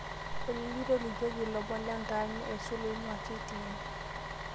olly tolikioki ilomon lentaani aisul oingua k.t.n